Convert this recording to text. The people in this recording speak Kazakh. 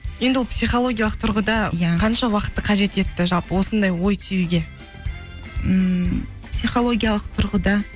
енді ол психологиялық тұрғыда иә қанша уақытты қажет етті жалпы осындай ой түюге ммм психологиялық тұрғыда